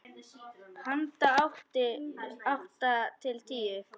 Handa átta til tíu